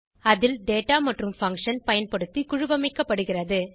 அதில் டேட்டா மற்றும் பங்ஷன் பயன்படுத்தி குழுவமைக்கப்படுகிறது